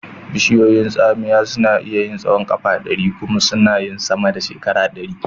Bishiyun tsamiya suna iya yin tsahon ƙafa ɗari kuma sana yin sama da shekara ɗari.